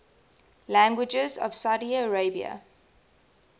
languages of saudi arabia